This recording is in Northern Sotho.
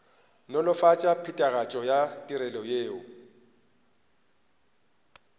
nolofatša phethagatšo ya ditirelo yeo